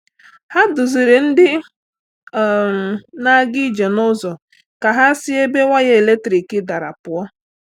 Hà duzìrì̀ ndị um na-aga ije n’ụzọ ka hà si ebe waya eletrik darà pụọ̀.